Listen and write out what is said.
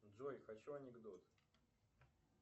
джой хочу анекдот